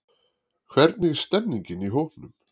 Hvernig stemmningin í hópnum?